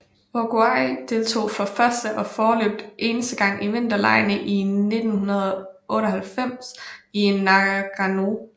Uruguay deltog for første og foreløbigt eneste gang i vinterlegene i 1998 i Nagano